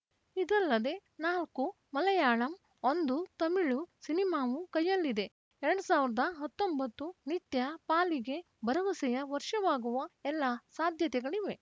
ಇದಲ್ಲದೇ ನಾಲ್ಕು ಮಲಯಾಳಂ ಒಂದು ತಮಿಳು ಸಿನಿಮಾವೂ ಕೈಯಲ್ಲಿದೆ ಎರಡ್ ಸಾವಿರದ ಹತ್ತೊಂಬತ್ತು ನಿತ್ಯಾ ಪಾಲಿಗೆ ಭರವಸೆಯ ವರ್ಷವಾಗುವ ಎಲ್ಲ ಸಾಧ್ಯತೆಗಳಿವೆ